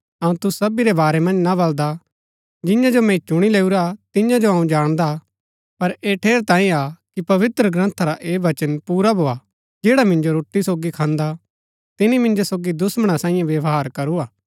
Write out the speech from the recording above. अऊँ तूसु सबी रै बारै मन्ज ना बलदा जियां जो मैंई चूणी लैऊरा तियां जो अऊँ जाणदा हा पर ऐह ठेरैतांये हा कि पवित्रग्रन्था रा ऐह बचन पुरा भोआ जैडा मिन्जो सोगी रोटी खान्दा तिनी मिन्जो सोगी दुश्‍मणा सांईये व्यवहार करू हा